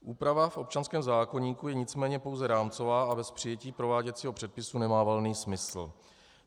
Úprava v občanském zákoníku je nicméně pouze rámcová a bez přijetí prováděcího předpisu nemá valný smysl.